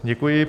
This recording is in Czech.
Děkuji.